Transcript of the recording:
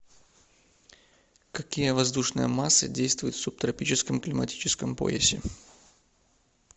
какие воздушные массы действуют в субтропическом климатическом поясе